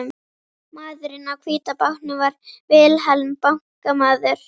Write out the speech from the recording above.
Maðurinn á hvíta bátnum var Vilhelm bankamaður.